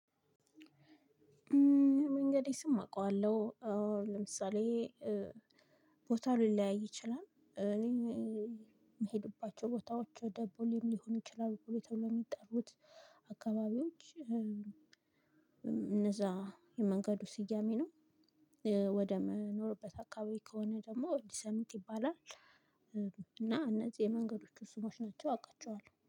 የመንገዴ ስም አቀዋለሁ። ለምሳሌ ቦታ ሊለያይ ይችላል። እኔ ምሄድባቸው ቦታዎች ወደ ቦሌም ሊሆን ይችላል። ቦሌ ተብሎ ሚጠሩት አካባቢዎች። እነዛ የመንገዱ ስያሜ ነው። ወደ መኖርበት አካባቢ ከሆነ ደግሞ እንዲሰምት ይባላል። እና እነዚህ የመንገዶቹ ስሞች ናቸው አውቃቸዋለሁ